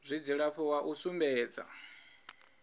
zwa dzilafho wa u sumbedza